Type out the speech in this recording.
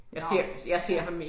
Nåh ja